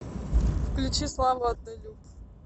включи славу однолюб